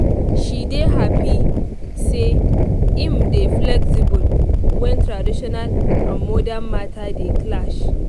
she dey happy say im dey flexible when traditional and modern matter dey clash